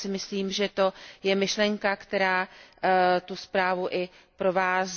Já si myslím, že to je myšlenka, která tu zprávu i provází.